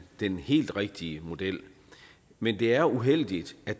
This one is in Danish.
den helt rigtige model men det er uheldigt at